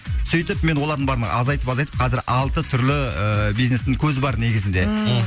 сөйтіп мен олардың бәрін азайтып азайтып қазір алты түрлі ыыы бизнестің көзі бар негізінде ммм